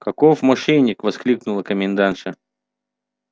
каков мошенник воскликнула комендантша